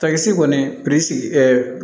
Takisi kɔni ɛɛ